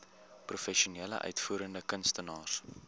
professionele uitvoerende kunstenaars